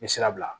N bɛ sira bila